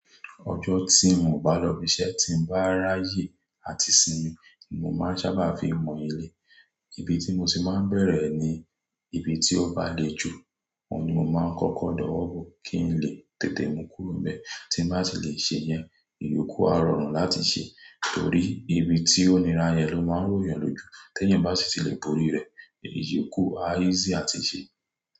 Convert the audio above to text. Ọjọ́ tí ń ò bá lọ ibi iṣẹ́ tí ń bá rá yè àti sinmi ni mo máa ń sábà fi mọ ilé. Ibi tí mo sì máa ń bẹ̀rẹ̀ ni ibi tí ó bá le jù, ọ̀ ni mo máa ń kọ́kọ́ dọwọ́ bo kí n lè tètè mú kúrò bẹ́ẹ̀ tí ń bá ti lè ṣe yẹn, ìyókù a rọrùn láti ṣe torí ibi tí oníràrè ló máa ń ròyàn lójú. Ti èyán bá sì ti lè borí rẹ̀, ìyókù á easy àti ṣe.